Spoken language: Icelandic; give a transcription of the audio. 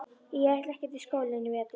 Ég ætla ekkert í skólann í vetur.